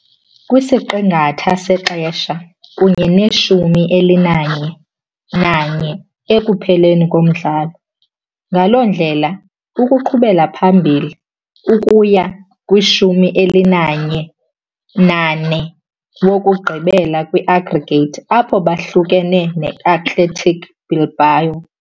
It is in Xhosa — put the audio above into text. kwisiqingatha sexesha kunye ne-11-1 ekupheleni komdlalo, ngaloo ndlela uqhubela phambili ukuya ku-11-4 wokugqibela kwi-aggregate, apho baphulukene ne- Athletic Bilbao .